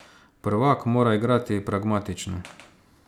Prvak mora igrati pragmatično.